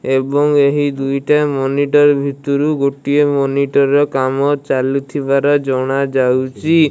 ଏବଂ ଏହି ଦୁଇଟା ମନିଟ ର ଭିତୁରୁ ଗୋଟିଏ ମନିଟ ର କାମ ଚାଲୁଥିବାର ଜଣା ଯାଉଛି।